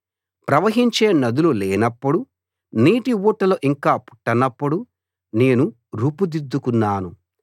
ప్రవాహించే నదులు లేనప్పుడు నీటి ఊటలు ఇంకా పుట్టనప్పుడు నేను రూపుదిద్దుకున్నాను